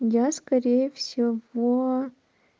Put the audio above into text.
я скорее всего